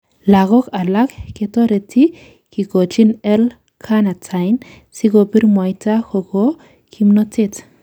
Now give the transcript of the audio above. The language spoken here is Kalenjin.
Logok alak ketoreti kikochin L carnitine sikobir mwaita koko kimnotet.